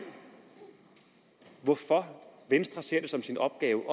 hvorfor venstre ser det som sin opgave at